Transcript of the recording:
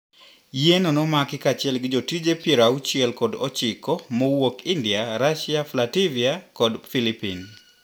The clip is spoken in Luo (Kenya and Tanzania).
Yieno nomaki kachiel gi jotije piero auchie kod ochiko mowuok India, Russia, Flatvia kod philipine